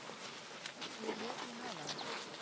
Ég lét mig hafa það.